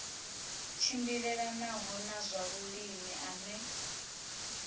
tshimbilelanaho na zwa vhulimi ane